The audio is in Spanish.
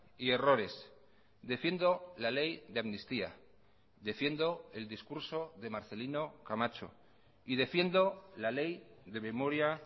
y errores defiendo la ley de amnistía defiendo el discurso de marcelino camacho y defiendo la ley de memoria